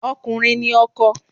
Ọkùnrin ni ọkọ.